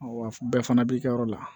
Wa bɛɛ fana b'i ka yɔrɔ la